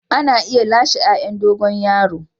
Ana iya lasewa yayan dogon yaro.